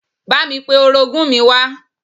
Bámi pe orogún mi wá